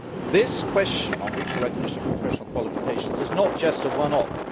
This question of mutual recognition of professional qualifications is not just a one off.